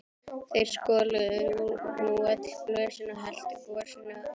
Þeir skoluðu nú öll glösin og helltu gosinu á þau.